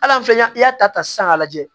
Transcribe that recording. Al'an filɛ i y'a ta sisan k'a lajɛ